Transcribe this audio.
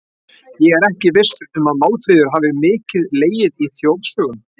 Ég er ekki viss um að Málfríður hafi mikið legið í þjóðsögum.